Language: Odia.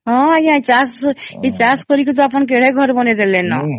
ହଁ ଆଂଜ୍ଞା ଏଇ ଚାଷ କରିକି ଟା ଆପଣ କେଡେ ଘର ବନେଇଦେଲାନା